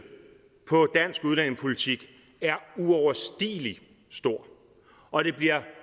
på dansk udlændingepolitik er uoverstigelig stor og det bliver